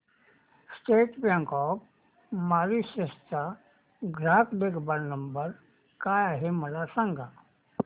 state Bank of Mauritius चा ग्राहक देखभाल नंबर काय आहे मला सांगा